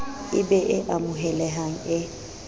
e be e amohelehang e